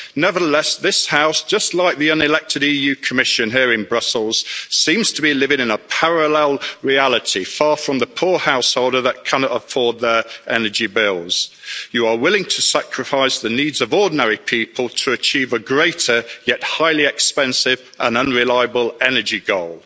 Nevertheless, this House, just like the unelected EU Commission here in Brussels, seems to be living in a parallel reality, far from the poor householder that cannot afford their energy bills. You are willing to sacrifice the needs of ordinary people to achieve a greater, yet highly expensive and unreliable energy goal.